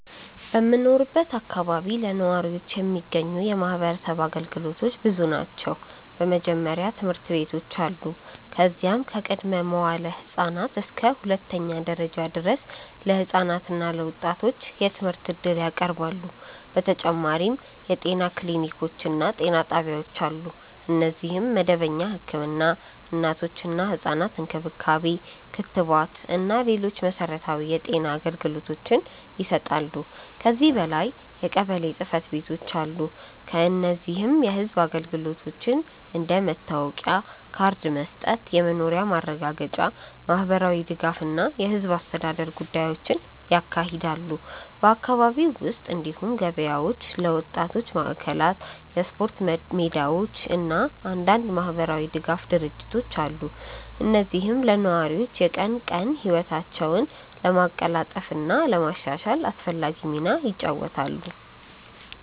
በምኖርበት አካባቢ ለነዋሪዎች የሚገኙ የማህበረሰብ አገልግሎቶች ብዙ ናቸው። በመጀመሪያ ትምህርት ቤቶች አሉ፣ እነዚህም ከቅድመ-መዋዕለ ህፃናት እስከ ሁለተኛ ደረጃ ድረስ ለህፃናት እና ለወጣቶች የትምህርት እድል ያቀርባሉ። በተጨማሪም የጤና ክሊኒኮች እና ጤና ጣቢያዎች አሉ፣ እነዚህም መደበኛ ህክምና፣ እናቶችና ህፃናት እንክብካቤ፣ ክትባት እና ሌሎች መሠረታዊ የጤና አገልግሎቶችን ይሰጣሉ። ከዚህ በላይ የቀበሌ ጽ/ቤቶች አሉ፣ እነዚህም የህዝብ አገልግሎቶችን እንደ መታወቂያ ካርድ መስጠት፣ የመኖሪያ ማረጋገጫ፣ የማህበራዊ ድጋፍ እና የህዝብ አስተዳደር ጉዳዮችን ያካሂዳሉ። በአካባቢው ውስጥ እንዲሁም ገበያዎች፣ የወጣቶች ማዕከላት፣ የስፖርት ሜዳዎች እና አንዳንድ የማህበራዊ ድጋፍ ድርጅቶች አሉ፣ እነዚህም ለነዋሪዎች የቀን ቀን ህይወታቸውን ለማቀላጠፍ እና ለማሻሻል አስፈላጊ ሚና ይጫወታሉ።